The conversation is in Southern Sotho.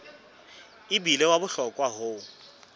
e bile wa bohlokwa ho